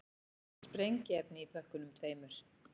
Sprengiefni í pökkunum tveimur